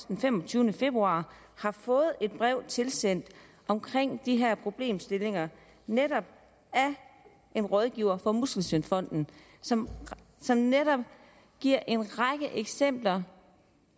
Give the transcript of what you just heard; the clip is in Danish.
den femogtyvende februar har fået et brev tilsendt om de her problemstillinger netop af en rådgiver for muskelsvindfonden som som giver en række eksempler